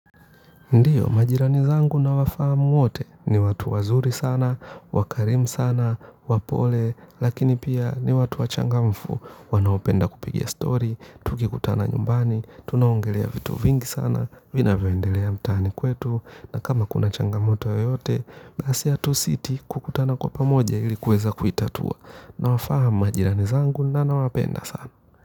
Ndiyo, majirani zangu nawafahamu wote, ni watu wazuri sana, wakarimu sana, wapole, lakini pia ni watu wachangamfu, wanaopenda kupiga stori, tukikutana nyumbani, tunaongelea vitu vingi sana, vinavyoendelea mtaani kwetu na kama kuna changamoto yoyote, basi hatusiti kukutana kwa pamoja ili kuweza kuitatua. Nawafahamu majirani zangu na nawapenda sana.